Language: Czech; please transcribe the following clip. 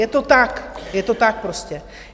Je to tak, je to tak prostě!